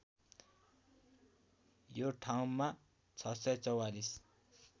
यो ठाउँमा ६४४